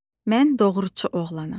Mən doğruçu oğlanam.